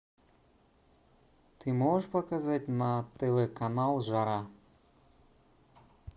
ты можешь показать на тв канал жара